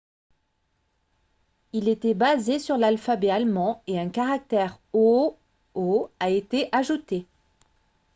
il était basé sur l'alphabet allemand et un caractère « õ/õ » a été ajouté